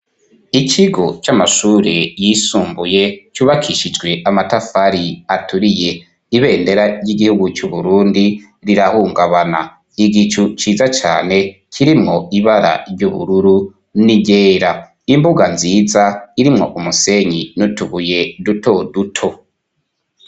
Ikigo c'amashure yisumbuye cubakishijwe amatafari aturiye. Ibendera ry'igihugu cy'Uburundi rirahungabana. Igicu ciza cyane kirimwo ibara ry'ubururu n' iryera. Imbuga nziza irimwo umusenyi n' utubuye duto duto.